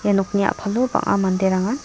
ia nokni a·palo bang·a manderangan--